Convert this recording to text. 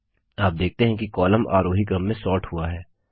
आप देखते हैं कि कॉलम आरोही क्रम में सोर्ट हुआ है